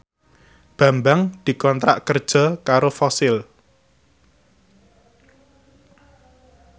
Bambang dikontrak kerja karo Fossil